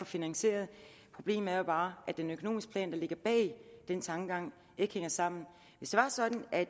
finansieret problemet er bare at den økonomiske plan der ligger bag den tankegang ikke hænger sammen hvis det var sådan at